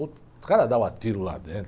O cara dava tiro lá dentro.